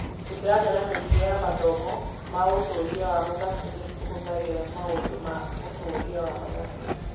Mĩtaratara mĩingĩ ya mathomo ma ũtuĩria wa mathabu nĩ ĩhũthagĩra maũndũ ma ũtuĩria wa mathabu.